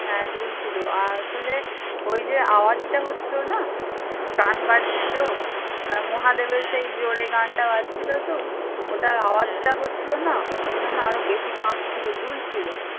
হ্যাঁ দুল ছিল আর আসলে ওই যে আওয়াজটা হচ্ছিল না গান বাজছিল মহাদেবের সেই জোরে গানটা বাজছিলো তো ওটার আওয়াজটা হচ্ছিলো না ওই জন্য আরো বেশি কাঁপ ছিল দুল ছিল